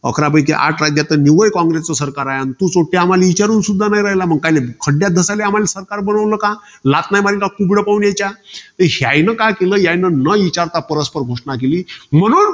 अकरापैकी आठ राज्यात तर निव्वळ कॉंग्रसचं सरकार आहे. अन तू सोट्ट्या आम्हाला विचारूनपण न्हाई राहिला. मग काय खड्यात धासायले आम्हाला सरकार बनवलं का? लाथ नाई मरीन तर यायनं काय केलं? यायनं न विचारता परस्पर घोषणा केली. म्हणून,